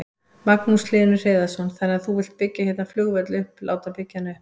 Magnús Hlynur Hreiðarsson: Þannig að þú vilt byggja hérna flugvöll upp, láta byggja hann upp?